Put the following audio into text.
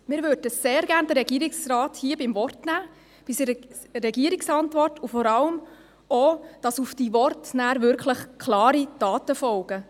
Wir würden den Regierungsrat sehr gerne beim Wort nehmen, gemäss seiner Regierungsantwort, und möchten vor allem auch, dass auf diese Worte wirklich klare Taten folgen.